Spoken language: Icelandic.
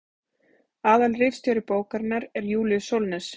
aðalritstjóri bókarinnar er júlíus sólnes